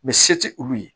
se tɛ olu ye